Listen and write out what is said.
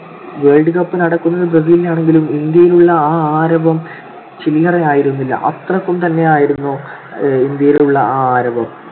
world cup നടക്കുന്നത് ബ്രസീലിലാണെങ്കിലും ഇന്ത്യയിലുള്ള ആ ആരവം ചില്ലറയായിരുന്നില്ല. അത്രക്കും തന്നെയായിരുന്നു ഏർ ഇന്ത്യയിലുള്ള ആ ആരവം.